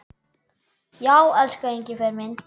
Já, elsku Engifer minn.